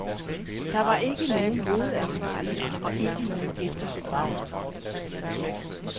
Der var ikke nogen hovedansvarlig og ikke noget eftersyn.